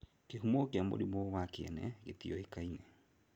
Kĩhumo kĩ mũrimũ wa kĩene ngĩtiũĩkaine.